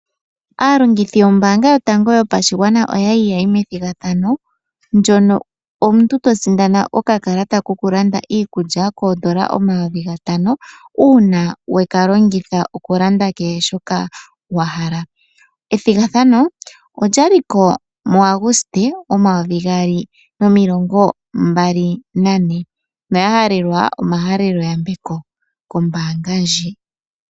Aalongithi yombaanga yotango yopashigwana oya li yayi methigathano ndono omuntu to sindana okakalata koku landa iikulya koondola omayovi gatano uuna weka longitha oku landa kehe shoka wa hala. Ethigathano olya li ko muAguste, omayovi gaali nomilongo mbali nane. Oya halelwa omahalelo yambeko kombaanga ndjika.